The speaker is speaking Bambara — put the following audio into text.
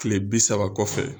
kile bi saba kɔfɛ.